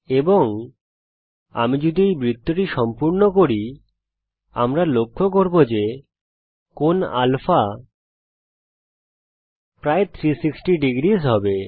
এবং আমি যদি এই বৃত্তটি সম্পূর্ণ করি আমরা লক্ষ্য করব যে কোণ α প্রায় 360 ডিগ্রী হবে